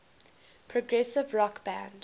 progressive rock band